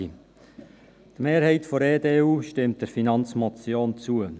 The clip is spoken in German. Die Mehrheit der EDU stimmt der Finanzmotion zu.